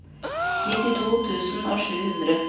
nittito tusen og sju hundre